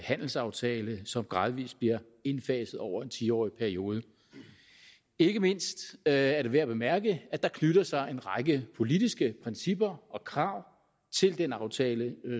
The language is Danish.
handelsaftale som gradvis bliver indfaset over en ti årig periode ikke mindst er det værd at bemærke at der knytter sig en række politiske principper og krav til den aftale